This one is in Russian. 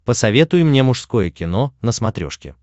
посоветуй мне мужское кино на смотрешке